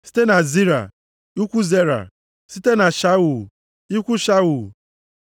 Site na Zera, ikwu Zera, site na Shaul, ikwu Shaul.